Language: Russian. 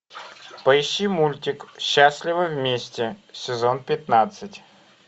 поищи мультик счастливы вместе сезон пятнадцать